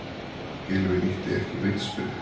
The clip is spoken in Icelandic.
Gylfi nýtti ekki vítaspyrnu